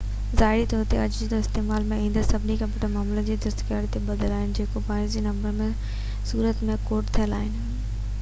ظاهري طور تي اڄ جي استعمال ۾ ايندڙ سڀئي ڪمپيوٽر معلومات جي دستڪاري تي ٻڌل آهن جيڪو بائنري نمبرن جي صورت ۾ ڪوڊ ٿيل آهن